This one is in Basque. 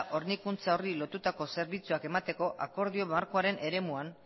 hornikuntza horri zerbitzuak emateko akordio markoaren eremuan